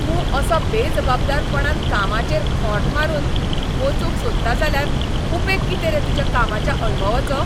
तूं असो बेजबाबदारपणान कामाचेर खोंट मारून वचूंक सोदता जाल्यार उपेग कितें रे तुज्या कामाच्या अणभवाचो?